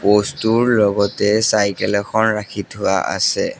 Post টোৰ লগতে cycle এখন ৰাখি থোৱা আছে।